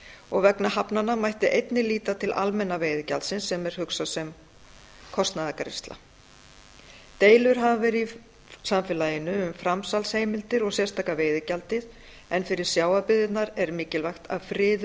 og vegna hafnanna mætti einnig líta til almenna veiðigjaldsins sem er hugsað sem kostnaðargreiðsla deilur hafa verið í samfélaginu um framsalsheimildir og sérstaka veiðigjaldið en fyrir sjávarbyggðirnar er mikilvægt að friður